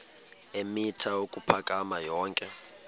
eemitha ukuphakama yonke